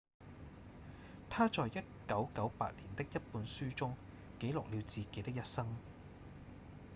他在1998年的一本書中記錄了自己的一生